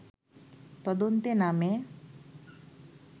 তদন্তে নামে